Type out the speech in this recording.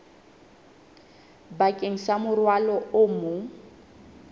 bakeng sa morwalo o mong